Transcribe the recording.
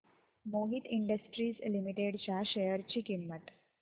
Mohit industries limited च्या share ची किंमत